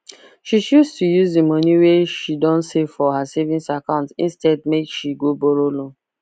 she choose to use the money wey she don save for her savings account instead make she go borrow loan